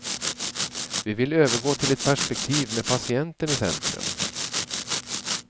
Vi vill övergå till ett perspektiv med patienten i centrum.